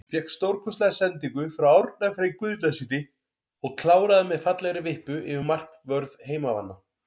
Fékk stórkostlega sendingu frá Árna Frey Guðnasyni og kláraði með fallegri vippu yfir markvörð heimamanna.